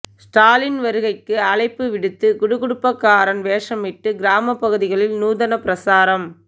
ஸ்டாலின் வருகைக்கு அழைப்பு விடுத்து குடு குடுப்பைக்காரன் வேஷமிட்டு கிராம பகுதிகளில் நூதன பிரசாரம்